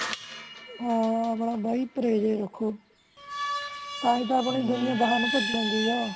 ਹਾਂ ਬਾਈ ਪਰੇਜ ਰੱਖੋ ਤਾਹਿ ਤਾ ਆਪਣੀ ਦੁਨੀਆਂ ਨੂੰ ਪਜੀ ਜਾਂਦੀ ਆ